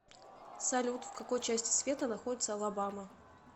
салют в какой части света находится алабама